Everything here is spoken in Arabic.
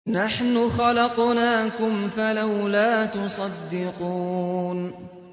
نَحْنُ خَلَقْنَاكُمْ فَلَوْلَا تُصَدِّقُونَ